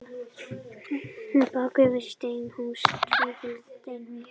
Bakki var tvílyft steinhús.